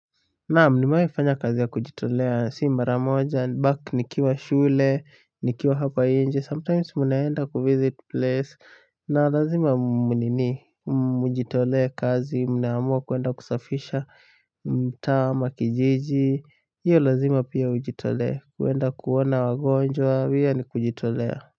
Naam nimewaifanya kazi ya kujitolea, si maramoja, back nikiwa shule, nikiwa hapa inje, sometimes munaenda ku-visit place, na lazima mnini, mjitolee kazi, mnaamua kuenda kusafisha, mtaa ama, kijiji, hiyo lazima pia ujitolee, kuenda kuona wagonjwa, pia ni kujitolea.